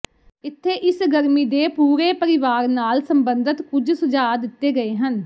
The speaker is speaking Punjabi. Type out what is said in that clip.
ਇੱਥੇ ਇਸ ਗਰਮੀ ਦੇ ਪੂਰੇ ਪਰਿਵਾਰ ਨਾਲ ਸੰਬੰਧਤ ਕੁਝ ਸੁਝਾਅ ਦਿੱਤੇ ਗਏ ਹਨ